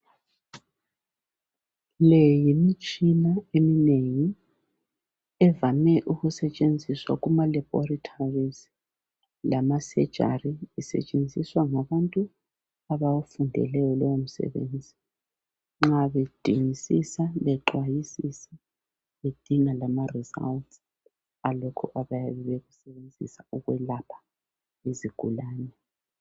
Le yimitshina eminengi, evame ukusetshenziswa kumaLaboratories lamasurgeries. lsetshenziswa ngabantu abawufundeleyo lowomsebenzi. Nxa bedingisisa, bexwayisisa, bedinga lamaresults awalokho abayabe befuna ukukwelapha izigulane.